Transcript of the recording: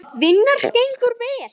Vinnan gengur vel.